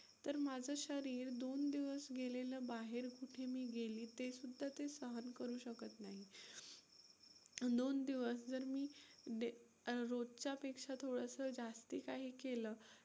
तर माझं शरीर दोन दिवस गेलेलं बाहेर कुठे मी गेली ते सुद्धा ते सहन करू शकत नाही, दोन दिवस जर मी रोजच्या पेक्षा थोडंसं जास्ती काही केलं